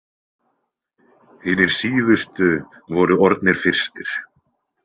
Hinir síðustu voru orðnir fyrstir.